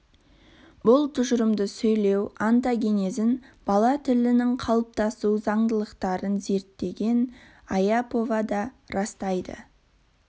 бұл тұжырымды сөйлеу онтогенезін бала тілінің қалыптасу заңдылықтарын зерттеген аяпова да растайды